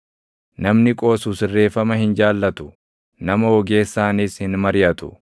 Namni qoosu sirreeffama hin jaallatu; nama ogeessaanis hin mariʼatu.